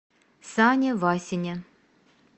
сане васине